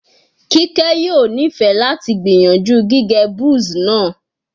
Kike yoo nifẹ lati gbiyanju gige Buzz naa